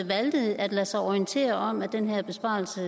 valgte at lade sig orientere om at den her besparelse